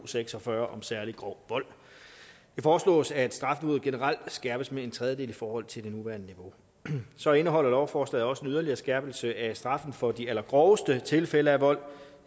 seks og fyrre om særlig grov vold det foreslås at strafniveauet generelt skærpes med en tredjedel i forhold til det nuværende niveau så indeholder lovforslaget også en yderligere skærpelse af straffen for de allergroveste tilfælde af vold